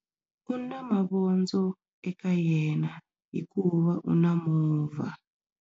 U na mavondzo eka yena hikuva u na movha.